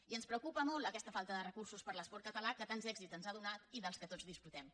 i ens preocupa molt aquesta falta de recursos per a l’esport català que tants èxits ens ha donat i dels quals tots disfrutem